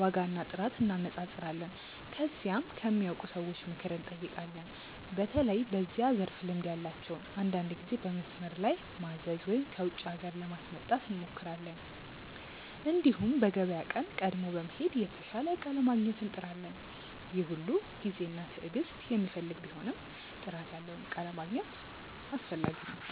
ዋጋና ጥራት እንነጻጸራለን። ከዚያም ከሚያውቁ ሰዎች ምክር እንጠይቃለን፣ በተለይ በዚያ ዘርፍ ልምድ ያላቸውን። አንዳንድ ጊዜ በመስመር ላይ ማዘዝ ወይም ከውጪ ሀገር ለማስመጣት እንሞክራለን። እንዲሁም በገበያ ቀን ቀድሞ በመሄድ የተሻለ እቃ ለማግኘት እንጥራለን። ይህ ሁሉ ጊዜና ትዕግስት የሚፈልግ ቢሆንም ጥራት ያለውን እቃ ለማግኘት አስፈላጊ ነው።